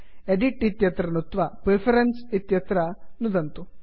edit edit इत्यत्र नुत्त्वा preferences preference इत्यत्रÇ नुदन्तु